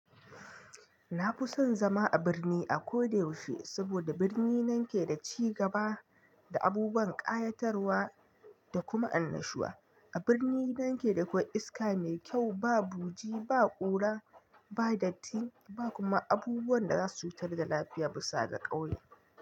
Na fi son zama a birni a ko da yaushe, saboda birni nan ke da cigaba da abubuwan ƙayatarwa da kuma annashuwa. A birni nan ke da kwai iska mai kyau, ba buji, ba ƙura, ba datti ba kuma abubuwan da za su cutar da lafiya bisa da ƙauye.